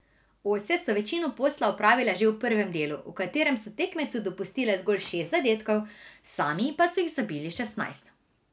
Ose so večino posla opravile že v prvem delu, v katerem so tekmecu dopustile zgolj šest zadetkov, sami pa so jih zabili šestnajst.